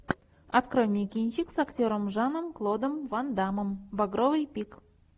открой мне кинчик с актером жаном клодом ван даммом багровый пик